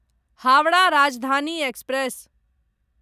Howrah Rajdhani express